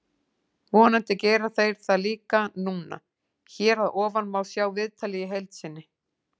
Vonandi gera þeir það líka núna. Hér að ofan má sjá viðtalið í heild sinni.